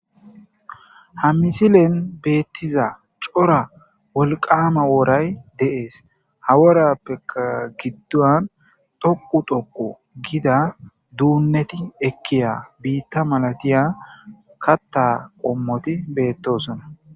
ha misilen beettiza cora wolqama woray deees haworappeka giddon toqu toqo gida duunneti ekkiya biitta malatiya katta qommoti beettosona